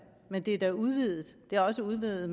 men det er udvidet det er også udvidet